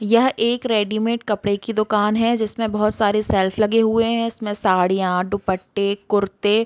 यह एक रेडीमेड कपड़े की दुकान है। जिसमे बहोत सारे सेल्फ़ लगे हुए हैं। जिसमे साड़िया दुपट्टे कुर्ते --